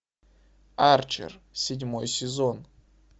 арчер седьмой сезон